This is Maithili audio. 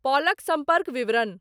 पॉलक संपर्क विवरण।